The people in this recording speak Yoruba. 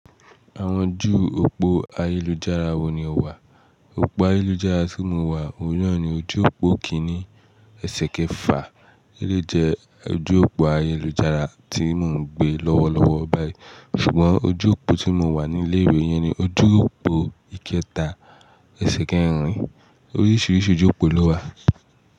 Àwọn ojú òpó ayélujára wo ni o wà? Òpó ayélujára tí mo wà òun náà ni ojú òpó kìíní èṣe kẹ́fa. Élé jẹ ojú òpó ayélujára tí mò ń gbé lọ́wọ́lọ́wọ́ báyìí. Ṣùgbọ́n ojú òpó tí mo wà ní ilé ìwé yẹn ni ojú òpó ìkẹta èṣe kẹ́-ìrín. Oríṣìíríṣìí ojú òpó ló wà.